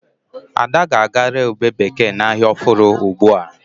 Ada ga-aga re ụbe bekee na ahia ọfụrụ ugbua